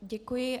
Děkuji.